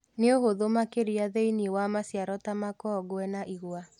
Nĩũhũthũ makĩria thĩinĩ wa maciaro ta makongwe na igwa